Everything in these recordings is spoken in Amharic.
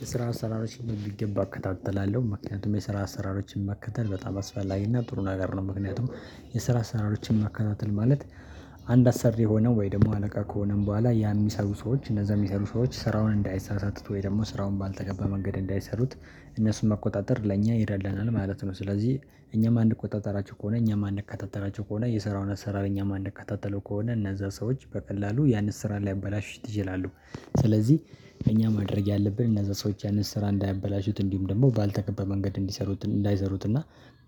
የስራ አሰራሮችን በሚገባ እከታተላለሁ ምክንያቱም የስራ አሰራሮችን መከተል በጣም አስፈላጊና ጥሩ ነገር ነው። ምክንያቱም የስራ አሰራሮችን መከታተል ማለት አንድ አሰሪ ሆነው ወይ ደግሞ አለቃ ከሆነም በኋላ ያን የሚሰሩ ሰዎች እነዛ የሚሰሩ ሰዎች ስራውን እንዳይሳሳት ወይ ደግሞ ስራውን ባልተገባ መንገድ እንዳይሰሩት እነሱን መቆጣጠር ለእኛ ይረዳናል ማለት ነው። ስለዚህ እኛ የማንቆጣጠራቸው ከሆነ እኛም የማንከታተላቸው ከሆነ የሰራውን አሰራር እኛም የማንከታተለው ከሆነ እነዛ ሰዎች በቀላሉ ያንን ስራ ሊያበላሹት ይችላሉ። ስለዚህ እኛ ማድረግ ያለብን እነዛ ሰዎች ያንን ስራ እንዳያበላሹት እንዲሁም ደግሞ ባልተገባ መንገድ እንዲሰሩት እንዳይሰሩትና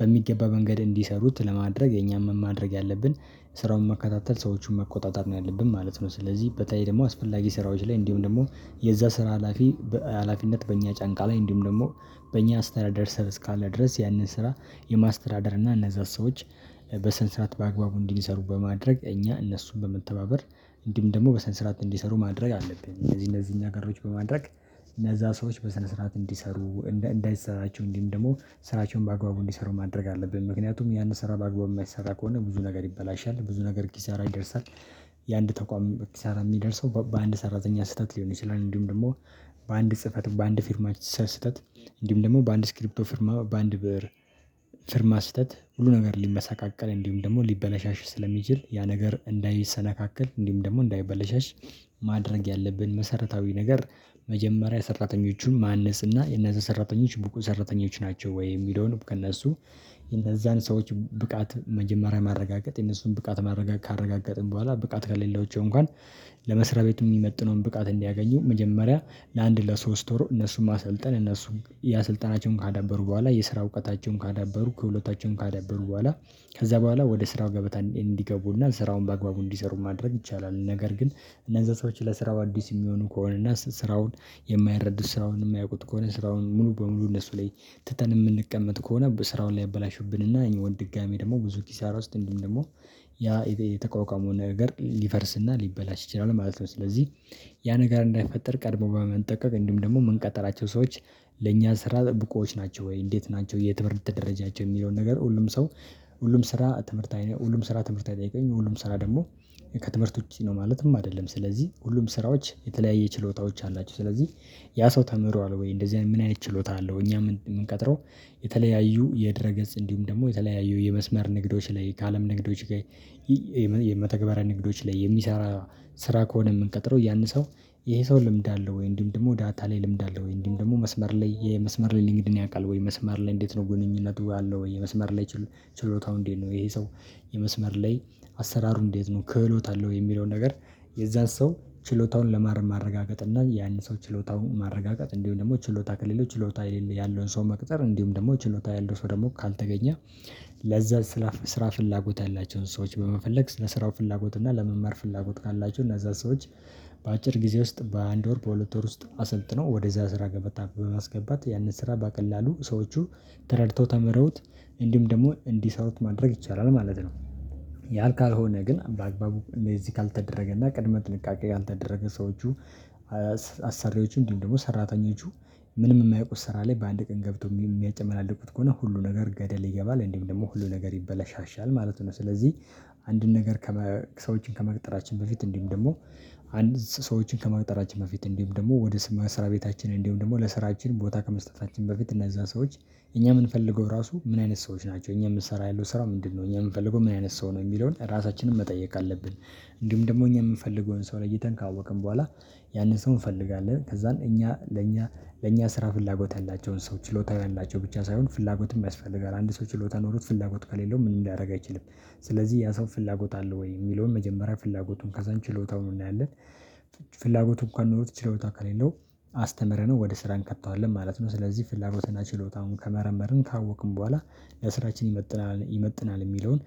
በሚገባ መንገድ እንዲሰሩት ለማድረግ የኛም ማድረግ ያለብን ስራውን መከታተል ሰዎችን መቆጣጠር ነው ያለብን ማለት ነው። ስለዚህ በተለይ ደግሞ አስፈላጊ ስራዎች ላይ እንዲሁም ደግሞ የዛ ስራ ሀላፊ በሃላፊነት በእኛ ጫንቃ ላይ እንዲሁም ደግሞ በእኛ አስተዳደር ሰር እስካለ ድረስ ያንን ስራ የማስተዳደር እና እነዛን ሰዎች በስነ ስርዓት በአግባቡ እንዲሰሩ በማድረግ እኛ እነሱን በመተባበር እንዲሁም ደግሞ በስነ ስርዓት እንዲሰሩ ማድረግ አለብን። እንደዚህ እንደዚህ እኛ ጋር በማድረግ እነዛ ሰዎች በሰነ ስርዓት እንዲሰሩ እንዳይሰራቸው እንዲህም ደግሞ ስራቸውን በአግባቡ እንዲሰሩ ማድረግ አለብን። ምክንያቱም ያን ስራ በአግባቡ የማይሰራ ከሆነ ብዙ ነገር ይበላሻል ብዙ ነገር ኪሳራ ይደርሳል። የአንድ ተቋም ኪሳራ የሚደርሰው በአንድ ሰራተኛ ስህተት ሊሆን ይችላል። እንዲሁም ደግሞ በአንድ ጽህፈት በአንድ ፊርማ ስህተት እንዲሁም ደግሞ በአንድ ስክሪፕቶ ፍርማ በአንድ ብር ፍርማ ስህተት ሁሉ ነገር ሊመሰቃቀል እንዲሁም ደግሞ ሊበላሽሽ ስለሚችል ያ ነገር እንዳይሰነካከል እንዲሁም ደግሞ እንዳይበለሸሽ። ማድረግ ያለብን መሰረታዊ ነገር መጀመሪያ ሰራተኞቹን ማነጽ እና እነዚህ ሰራተኞች ብቁ ሰራተኞች ናቸው? ወይ የሚለውን ከእነሱ የእነዛን ሰዎች ብቃት መጀመሪያ ማረጋገጥ የነሱን ብቃት ማረጋገጥ ካረጋገጥን በኋላ ብቃት ከሌሎቸው እንኳን ለመስሪያ ቤት የሚመጥነውን ብቃት እንዲያገኙ መጀመሪያ ለአንድ ለሶስት ወር እነሱን ማሰልጣን እነሱን ያ ስልጣናቸውን ካዳበሩ በኋላ የስራ እውቀታቸውን ካዳበሩ ከሁለታቸውም ካዳበሩ በኋላ ከዛ በኋላ ወደ ስራው ገበታ እንዲገቡና ስራውን በአግባቡ እንዲሰሩ ማድረግ ይቻላል። ነገር ግን እነዛ ሰዎች ለስራው አዲስ የሚሆኑ ከሆነ እና ስራውን የማይረዱ ስራውን የማያውቁት ከሆነ ስራውን ሙሉ በሙሉ እነሱ ላይ ትተን የምንቀመጥ ከሆነ ስራውን ላይ ያበላሹብን እና ይሄ ወንድ ድጋሚ ደግሞ ብዙ ኪሳራ ውስጥ እንዲሁም ደግሞ ያ የተቋቋመውን ነገር ሊፈርስና ሊበላሽ ይችላል ማለት ነው። ስለዚህ ያ ነገር እንዳይፈጠር ቀድሞ በመንጠቀቅ እንዲሁም ደግሞ የምንቀጥራቸው ሰዎች ለእኛ ስራ ብቁዎች ናቸው? ወይ እንዴት ናቸው የትምህርት ደረጃቸው የሚለውን ነገር ሁሉም ሰው ሁሉም ስራ ትምህርታዊ ሁሉም ስራ ትምህርት አይጠይቀም ሁሉም ስራ ደግሞ ከትምህርት ውጪ ነው። ማለትም አይደለም ስለዚህ ሁሉም ስራዎች የተለያየ ችሎታዎች አላቸው። ስለዚህ ያ ሰው ተምሯል ወይ እንደዚህ አይነት ምን አይነት ችሎታ አለው? እኛ የምንቀጥረው። የተለያዩ የድረ ገጽ እንዲሁም ደግሞ የተለያዩ የመስመር ንግዶች ላይ ከአለም ንግዶች። ላይ የመተግበሪያ ንግዶች ላይ የሚሰራ ስራ ከሆነ የምንቀጥረው ያን ሰው ይሄ ሰው ልምድ አለው ወይ እንዲሁም ደግሞ ዳታ ላይ ልምድ አለወይ? እንዲሁም ደግሞ መስመር ላይ የመስመር ልምድን ያውቃል? ወይ መስመር ላይ እንዴት ነው ግንኙነቱ አለው ወይ? የመስመር ላይ ችሎታው እንዴት ነው? ይሄ ሰው የመስመር ላይ አሰራሩ እንዴት ነው? ክህሎት አለው ወይ የሚለውን ነገር። የዛን ሰው ችሎታውን ለማረጋገጥ እና ያን ሰው ችሎታው ማረጋገጥ እንዲሁ ደግሞ ችሎታ ከሌለው ችሎታ ያለውን ሰው መቅጠር እንዲሁም ደግሞ ችሎታ ያለው ሰው ደግሞ ካልተገኘ። ለዛ ስራ ስራ ፍላጎት ያላቸውን ሰዎች በመፈለግ ስለ ስራው ፍላጎት እና ለመማር ፍላጎት ካላችሁ እነዛን ሰዎች በአጭር ጊዜ ውስጥ በአንድ ወር በሁለት ወር ውስጥ አሰልጥነው ወደዛ ስራ ገበታ በማስገባት ያንን ስራ በቀላሉ ሰዎቹ ተረድተው ተመረውት እንዲሁም ደግሞ እንዲሰሩት ማድረግ ይቻላል ማለት ነው። ያልካልሆነ ግን በአግባቡ እንደዚህ ካልተደረገ እና ቅድመ ጥንቃቄ ያልተደረገ ሰዎቹ አሰሪዎችም እንዲሁም ደግሞ ሰራተኞቹ ምንም የማያውቁ ስራ ላይ በአንድ ቀን ገብቶ የሚያጨመላልቁት ከሆነ ሁሉ ነገር ገደል ይገባል እንዲሁም ደግሞ ሁሉ ነገር ይበላሻሻል ማለት ነው። ስለዚህ አንድን ነገር ከሰዎችን ከመቅጠራችን በፊት እንዲሁም ደግሞ አንድ ሰዎችን ከመቅጠራችን በፊት እንዲሁም ደግሞ ወደ ስም መስራ ቤታችን እንዲሁም ደግሞ ለስራችን ቦታ ከመስጠታችን በፊት እነዛ ሰዎች እኛ የምንፈልገው ራሱ ምን አይነት ሰዎች ናቸው? እኛ የምትሰራ ያለው ስራ ምንድነው? እኛ የምንፈልገው ምን አይነት ሰው ነው የሚለውን ራሳችንን መጠየቅ አለብን። እንዲሁም ደግሞ እኛ የምንፈልገውን ሰው ለይተን ካወቅን በኋላ ያንን ሰው እንፈልጋለን ከዛን እኛ ለእኛ ለእኛ ስራ ፍላጎት ያላቸውን ሰው ችሎታ ያላቸው ብቻ ሳይሆን ፍላጎትም ያስፈልጋል። አንድ ሰው ችሎታ ኖሮት ፍላጎት ከሌለው ምንም ሊያደርግ አይችልም። ስለዚህ ያ ሰው ፍላጎት አለ ወይ? የሚለውን መጀመሪያ ፍላጎቱን ከዛን ችሎታውን እንዳያለት ፍላጎቱ እንኳን ኖሮት ችሎታ ከሌለው አስተምረነው ወደ ስራ እንከተዋለን ማለት ነው። ስለዚህ ፍላጎትና ችሎታውን ከመረመርን ካወቅን በኋላ ለስራችን ይመጥናል ይመጥናል የሚለውን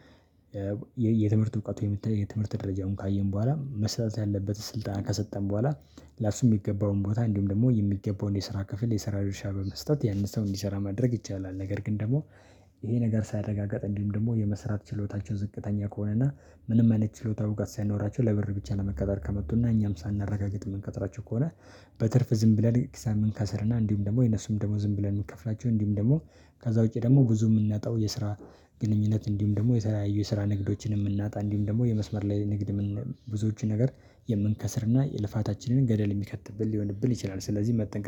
የትምህርት እውቀት የምታይ የትምህርት ደረጃውን ካየን በኋላ መስጠት ያለበት ስልጣን ከሰጠን በኋላ ለእሱ የሚገባውን ቦታ እንዲሁም ደግሞ የሚገባውን የስራ ክፍል የስራ ድርሻ በመስጠት ያንን ሰው እንዲሰራ ማድረግ ይቻላል። ነገር ግን ደግሞ ይሄ ነገር ሳይረጋጋጥ እንዲሁም ደግሞ የመስራት ችሎታቸው ዝቅተኛ ከሆነና ምንም አይነት ችሎታ ብቃት ሳይኖራቸው ለብር ብቻ ለመቀጠር ከመጡና እኛም ሳናረጋግጥ የምንቀጥራቸው ከሆነ በትርፍ ዝም ብለን ኤግዛምን ከሰርና እንዲሁም ደግሞ የነሱም ደግሞ ዝም ብለን የምንከፍላቸው እንዲሁም ደግሞ ከዛ ውጪ ደግሞ ብዙ የምናጣው የስራ ግንኙነት እንዲሁም ደግሞ የተለያዩ የስራ ንግዶችንም የምናጣ እንዲሁም ደግሞ የመስመር ላይ ንግድ ብዙዎቹን ነገር የምንከስርና የልፋታችንን ገደል የሚከትብን ሊሆንብን ይችላል። ስለዚህ መጠንቀቅ